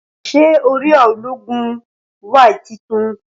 Ṣé orí ọgá ológun ( lánsì cọ́ọ̀púrà) wa titun